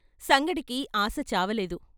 సంగడికి ఆశ చావలేదు.